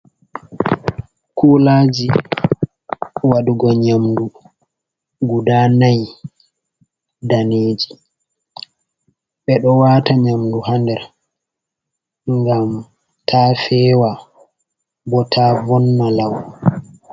Kulaaji waɗugo nyamdu guda nayi daneeji, ɓe ɗo waata nyamdu haa nder, ngam taa feewa, bo taa vonna law.